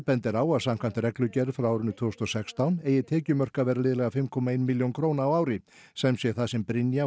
bendir á að samkvæmt reglugerð frá árinu tvö þúsund og sextán eigi tekjumörk að vera liðleg fimm komma eina milljón á ári sem sé það sem Brynja